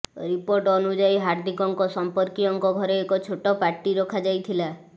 report ଅନୁଯାୟୀ ହାର୍ଦ୍ଦିକଙ୍କ ସର୍ମ୍ପକୀୟଙ୍କ ଘରେ ଏକ ଛୋଟ ପାର୍ଟୀ ରଖାଯାଇଥିଲା